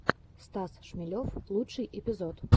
стас шмелев лучший эпизод